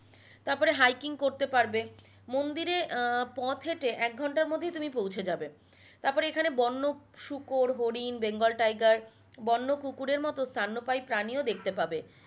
তারপরে hiking করতে পারবে মন্দিরে আহ পথ হেঁটে এক ঘন্টার মধ্যেই তুমি পৌঁছে যাবে তারপরে এখানে বন্য শুকর হরিণ বেঙ্গল টাইগার বন্য কুকুরের মতো স্তন্যপায়ী প্রাণীই দেখতে পাবে